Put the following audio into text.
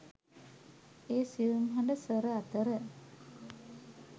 ඒ සියුම් හඬ ස්වර අතර